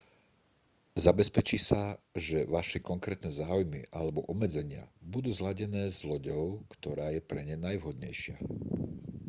zabezpečí sa že vaše konkrétne záujmy alebo obmedzenia budú zladené s loďou ktorá je pre ne najvhodnejšia